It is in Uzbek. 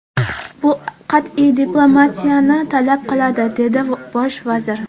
Bu qat’iy diplomatiyani talab qiladi”, dedi bosh vazir.